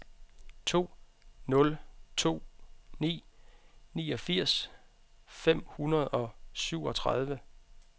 to nul to ni niogfirs fem hundrede og syvogtredive